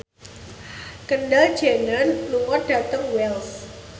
Kendall Jenner lunga dhateng Wells